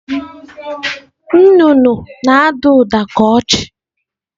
Nnụnụ na-ada ụda ka ọchị.